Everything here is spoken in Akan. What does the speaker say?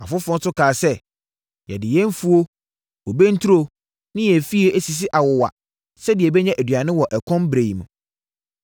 Afoforɔ nso kaa sɛ, “Yɛde yɛn mfuo, bobe nturo ne yɛn afie asisi awowa sɛdeɛ yɛbɛnya aduane wɔ ɛkɔm ɛberɛ mu.”